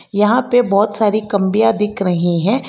यहां पे बहुत सारी दिख रही हैं।